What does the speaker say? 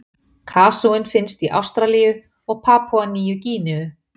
Kasúinn finnst í Ástralíu og Papúa-Nýju-Gíneu.